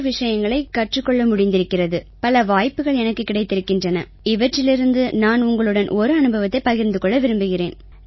விஷயங்களைக் கற்றுக் கொள்ள முடிந்திருக்கிறது பல வாய்ப்புக்கள் எனக்குக் கிடைத்திருக்கின்றன இவற்றிலிருந்து நான் உங்களுடன் ஒரு அனுபவத்தைப் பகிர்ந்து கொள்ள விரும்புகிறேன்